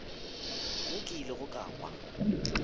mo ke ilego ka kwa